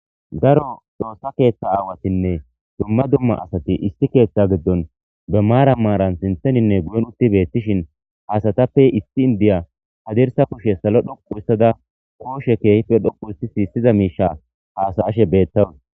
Daro xoossa keeththa aawatinne dumma dumma asati isti keeththa giddon be maara maaran sintheninne guyen utti beettishin haasatappe issi indiya hadirsa kushe salo dhoqu issada kooshe keehife dhoqu issi siissiza miisha haasaashe beettawu.